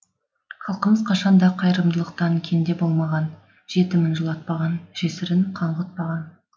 халқымыз кашан да кайырымдылықтан кенде болмаған жетімін жылатпаған жесірін қаңғытпаған